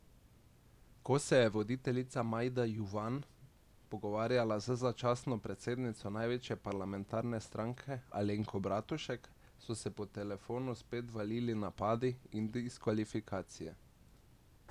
Ko se je voditeljica Majda Juvan pogovarjala z začasno predsednico največje parlamentarne stranke Alenko Bratušek, so se po telefonu spet valili napadi in diskvalifikacije.